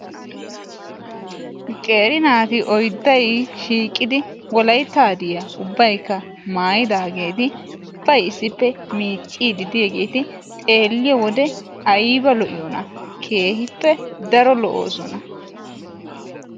Qeeri nati oyday shiiqidi Wolaytta hadiyaa maayyidaageeti ubbay issippe miiccide diyaageeti xeeliyoode aybba lo''iyoonna! xeeliyoode keehippe daro lo''oosona.